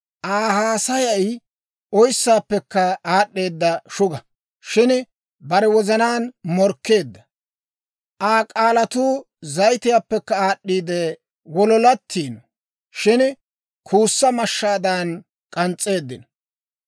Aa haasayay oyssaappekka aad'd'eeda shuga; shin bare wozanaan morkkeedda. Aa k'aalatuu zayitiyaappekka aad'd'iide wololatiino; shin kuussa mashshaadan k'ans's'eeddino.